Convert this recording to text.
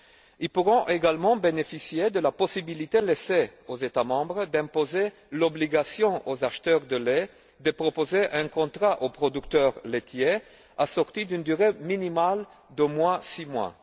Ils pourront également bénéficier de la possibilité laissée aux États membres d'imposer l'obligation aux acheteurs de lait de proposer un contrat aux producteurs laitiers assorti d'une durée minimale d'au moins six mois.